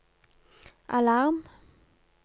alarm